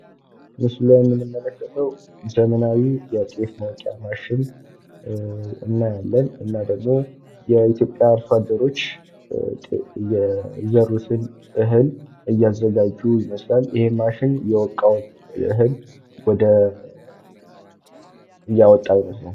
ምስሉ ላይ የምንመለከተው ዘመናዊ የጤፍ ማውጫ ማሽን እናያለን። እና ደግሞ የኢትዮጵያ አርሶአደሮች የዘሩትን እህል እያዘጋጁ ይመስላል ይህ ማሽን የወቃውን እህል እያወጣው ይመስላል።